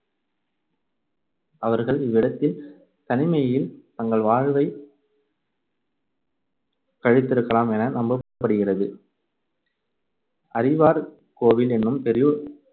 அவர்கள் இவ்விடத்தில் தனிமையில் தங்கள் வாழ்வைக் கழித்திருக்கலாம் என நம்பப்படுகிறது. அறிவார் கோவில் எனும் பெரு~